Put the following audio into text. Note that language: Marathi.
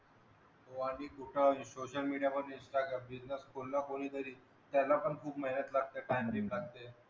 social media मध्ये business कोन ना कुणीतरी त्याला पण खूप मेहनत लगाते